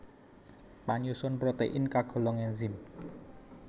Panyusun protein kagolong enzim